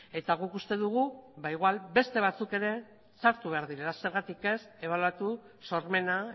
eta guk uste dugu ba igual beste batzuk ere sartu behar direla zergatik ez ebaluatu sormena